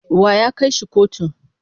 Wa ya kai shi kotu?